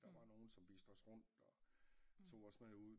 Der var nogen som viste os rundt og tog os med ud